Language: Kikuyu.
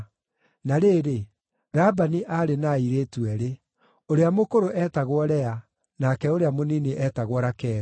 Na rĩrĩ, Labani aarĩ na airĩtu eerĩ; ũrĩa mũkũrũ eetagwo Lea, nake ũrĩa mũnini eetagwo Rakeli.